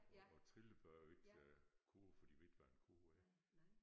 Og trillebør ikke kurv for de ved ikke hvad en kurv er